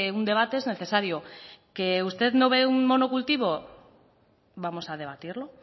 un debate es necesario que usted no ve un monocultivo vamos a debatirlo